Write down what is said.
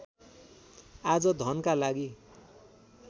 आज धनका लागि